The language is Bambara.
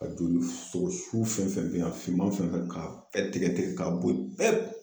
Ka joli sogo su fɛn fɛn , a finman fɛn fɛn , k'a tigɛ tigɛ ka bo yen pewu